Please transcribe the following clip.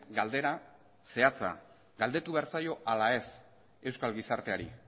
galdera zehatza galdetu behar zaio ala ez euskal gizarteari